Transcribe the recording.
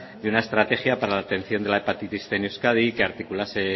de una estrategia para la atención de la hepatitis cien en euskadi que articulase